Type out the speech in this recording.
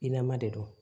I lama de don